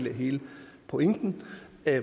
er hele pointen